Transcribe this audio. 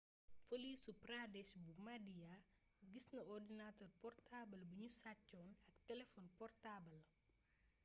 polisu pradesh bu maadhya gis na ordinatër portaabal bi nu sàccoon ak telefon portaabal